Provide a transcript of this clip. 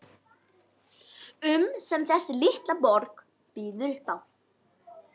um sem þessi litla borg býður upp á.